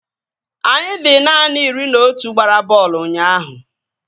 Anyị dị naanị iri na otu gbara bọọlụ ụnyaahụ